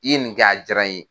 I ye nin kɛ a jara n ye.